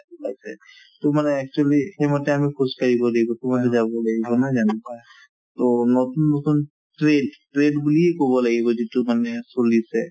project ওলাইছে মানে actually সেই মতে আমি খোজকাঢ়িব লাগিব যাব লাগিব নহয় জানো to নতুন নতুন বুলিয়ে ক'ব লাগিব যিটো মানে চলিছে